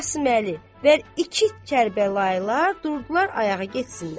Qasıməli, və iki Kərbəlayılar durdular ayağa getsinlər.